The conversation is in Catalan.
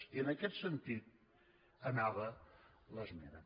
i en aquest sentit anava l’esmena